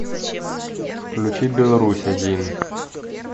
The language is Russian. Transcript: включи беларусь один